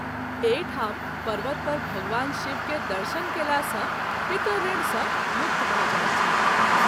एहि ठाम पर्वत पर भगवान शिव के दर्शन कएला सँ पितृऋण सँ मुक्त भऽ जाइत छथि।